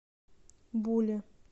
буле